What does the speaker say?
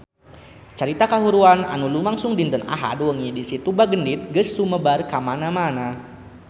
Carita kahuruan anu lumangsung dinten Ahad wengi di Situ Bagendit geus sumebar kamana-mana